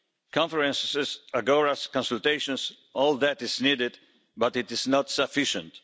Conferences, agoras consultations all that is necessary, but it is not sufficient.